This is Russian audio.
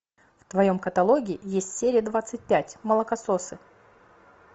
в твоем каталоге есть серия двадцать пять молокососы